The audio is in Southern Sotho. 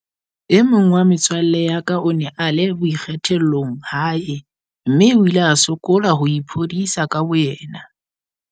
"E mong wa metswalle ya ka o ne a le boikgethollong hae mme o ile a sokola ho iphodisa ka bo yena."